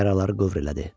Yaraları qövr elədi.